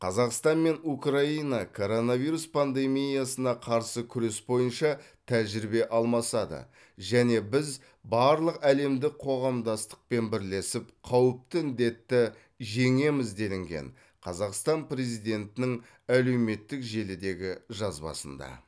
қазақстан мен украина коронавирус пандемиясына қарсы күрес бойынша тәжірибе алмасады және біз барлық әлемдік қоғамдастықпен бірлесіп қауіпті індетті жеңеміз делінген қазақстан президентінің әлеуметтік желідегі жазбасында